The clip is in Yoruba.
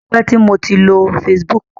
Ó ti pẹ́ tí mo ti lo Facebook.